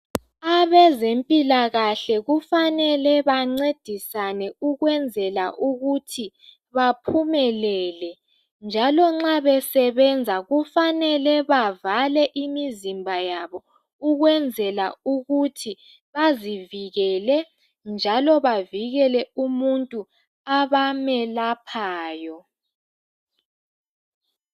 Abezempilakahle kufanele bencedisane ukwenzela ukuthi baphumelele njalo nxa besebenza kufanele bavale imizimba yabo ukwenzela ukuthi bazivikele bavikela umuntu abamyelaphayo.